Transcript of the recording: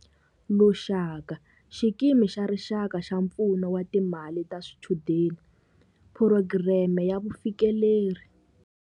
Lushaka, Xikimi xa Rixaka xa Pfuno wa Timali ta Swichudeni, Phurogireme ya Vufikeleri.